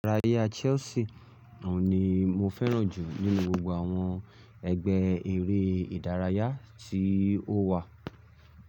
Ìdárayá Chelsea oun ni mo fẹ́ràn jù nínú gbogbo àwọn ẹgbẹ́ eré-ìdárayá tí ó wà.